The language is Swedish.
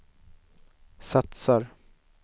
satsar